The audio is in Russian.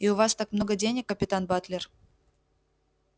и у вас так много денег капитан батлер